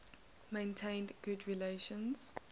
maintained good relations